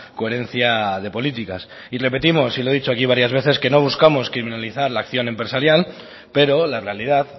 coherencia de políticas y repetimos y lo he dicho aquí varias veces que no buscamos criminalizar la acción empresarial pero la realidad